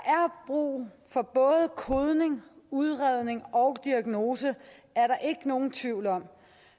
brug for både kodning udredning og diagnose er der ikke nogen tvivl om